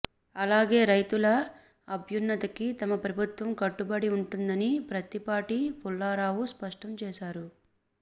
అలాగే రైతుల అభ్యున్నతికి తమ ప్రభుత్వం కట్టుబడి ఉంటుందని ప్రత్తిపాటి పుల్లారావు స్పష్టం చేశారు